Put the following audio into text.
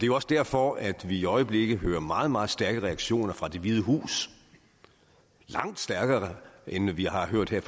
jo også derfor at vi i øjeblikket hører meget meget stærke reaktioner fra det hvide hus langt stærkere end vi har hørt her